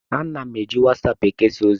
Ana m eji wasaapụ ekesa ozi.